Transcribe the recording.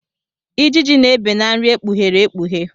Ijiji na-ebe na nri ekpughere ekpughe.